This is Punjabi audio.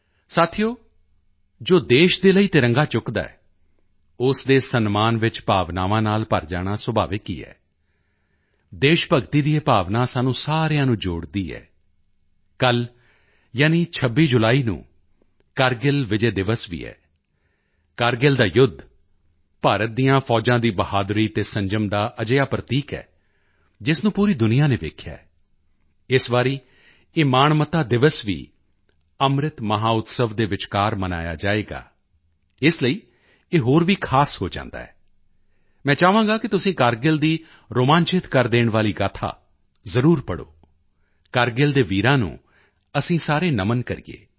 ਸਾਥੀਓ ਜੋ ਦੇਸ਼ ਦੇ ਲਈ ਤਿਰੰਗਾ ਚੁੱਕਦਾ ਹੈ ਉਸ ਦੇ ਸਨਮਾਨ ਵਿੱਚ ਭਾਵਨਾਵਾਂ ਨਾਲ ਭਰ ਜਾਣਾ ਸੁਭਾਵਿਕ ਹੀ ਹੈ ਦੇਸ਼ ਭਗਤੀ ਦੀ ਇਹ ਭਾਵਨਾ ਸਾਨੂੰ ਸਾਰਿਆਂ ਨੂੰ ਜੋੜਦੀ ਹੈ ਕੱਲ੍ਹ ਯਾਨੀ 26 ਜੁਲਾਈ ਨੂੰ ਕਰਗਿਲ ਵਿਜੈ ਦਿਵਸ ਵੀ ਹੈ ਕਰਗਿਲ ਦਾ ਯੁੱਧ ਭਾਰਤ ਦੀਆਂ ਫੌਜਾਂ ਦੀ ਬਹਾਦਰੀ ਅਤੇ ਸੰਜਮ ਦਾ ਅਜਿਹਾ ਪ੍ਰਤੀਕ ਹੈ ਜਿਸ ਨੂੰ ਪੂਰੀ ਦੁਨੀਆ ਨੇ ਦੇਖਿਆ ਹੈ ਇਸ ਵਾਰੀ ਇਹ ਮਾਣਮੱਤਾ ਦਿਵਸ ਵੀ ਅੰਮ੍ਰਿਤ ਮਹੋਤਸਵ ਦੇ ਵਿਚਕਾਰ ਮਨਾਇਆ ਜਾਵੇਗਾ ਇਸ ਲਈ ਇਹ ਹੋਰ ਵੀ ਖ਼ਾਸ ਹੋ ਜਾਂਦਾ ਹੈ ਮੈਂ ਚਾਹਾਂਗਾ ਕਿ ਤੁਸੀਂ ਕਰਗਿਲ ਦੀ ਰੋਮਾਂਚਿਤ ਕਰ ਦੇਣ ਵਾਲੀ ਗਾਥਾ ਜ਼ਰੂਰ ਪੜ੍ਹੋ ਕਰਗਿਲ ਦੇ ਵੀਰਾਂ ਨੂੰ ਅਸੀਂ ਸਾਰੇ ਨਮਨ ਕਰੀਏ